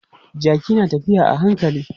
Jaki na tafiya a hankali.